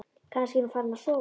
Kannski er hún farin að sofa.